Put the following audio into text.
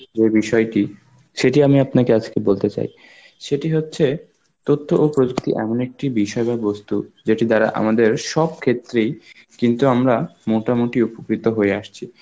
যে বিষয়টি সেটি আমি আপনাকে আজকে বলতে চাই. সেটি হচ্ছে তথ্য ও প্রযুক্তি এমন একটি বিষয় বা বস্তু যেটি দ্বারা আমাদের সব ক্ষেত্রেই কিন্তু আমরা মোটামুটি অপুষ্পিত হয়ে আসছি.